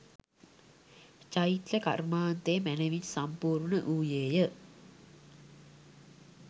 චෛත්‍ය කර්මාන්තය මැනැවින් සම්පූර්ණ වූයේ ය.